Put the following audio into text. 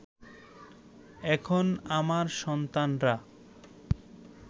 এখন আমার সন্তানরা